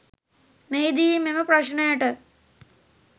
මෙහිදී මෙම ප්‍රශ්නයට